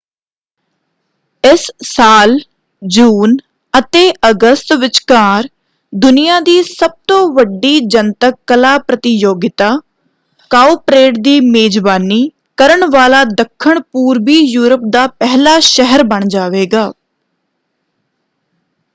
ਇਸ ਸਾਲ ਜੂਨ ਅਤੇ ਅਗਸਤ ਵਿਚਕਾਰ ਦੁਨੀਆ ਦੀ ਸਭ ਤੋਂ ਵੱਡੀ ਜਨਤਕ ਕਲਾ ਪ੍ਰਤੀਯੋਗਿਤਾ ਕਾਉਪਰੇਡ ਦੀ ਮੇਜਬਾਨੀ ਕਰਨ ਵਾਲਾ ਦੱਖਣ-ਪੂਰਬੀ ਯੂਰਪ ਦਾ ਪਹਿਲਾ ਸ਼ਹਿਰ ਬਣ ਜਾਵੇਗਾ।